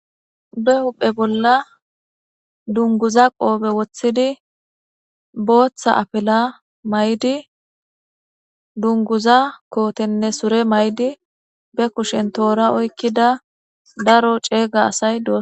be huphe bolla dunguza qoobe woththidi booththa apila may7di dunguza kootenne sure may7di be kushen toora oykkida daro ceega asay dosona